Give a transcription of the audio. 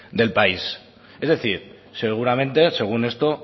del país es decir seguramente según esto